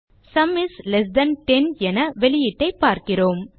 sum is less than 10 என வெளியீட்டை பார்க்கிறோம்